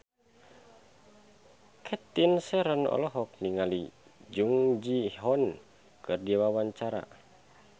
Cathy Sharon olohok ningali Jung Ji Hoon keur diwawancara